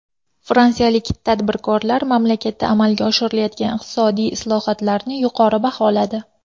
Fransiyalik tadbirkorlar mamlakatda amalga oshirilayotgan iqtisodiy islohotlarni yuqori baholadi.